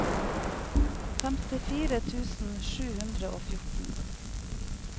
femtifire tusen sju hundre og fjorten